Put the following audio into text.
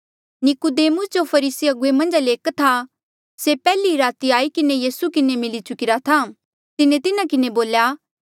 नीकुदेमुसे जो फरीसी अगुवे मन्झा ले एक था से पैहले ई राती आई किन्हें यीसू किन्हें मिली चुकिरा था तिन्हें तिन्हा किन्हें बोल्या